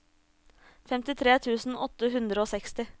femtitre tusen åtte hundre og seksti